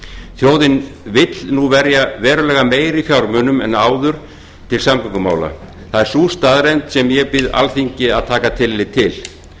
þjóðin vill nú verja verulega meiri fjármunum en áður til samgöngumála það er sú staðreynd sem ég bið alþingi að taka tillit til